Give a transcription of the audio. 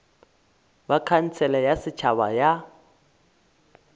ba khansele ya setšhaba ya